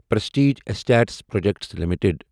prestige status projects limited